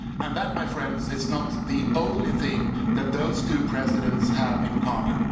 And that, my friends, is not the only thing that those two presidents have in common.